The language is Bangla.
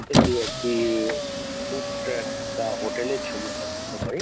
এটি একটি ই ই ফুড ট্রাক বা হোটেল এর ছবি আমরা বলতে পারি।